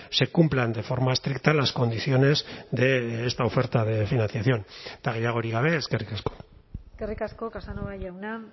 se cumplan de forma estricta las condiciones de esta oferta de financiación eta gehiagorik gabe eskerrik asko eskerrik asko casanova jauna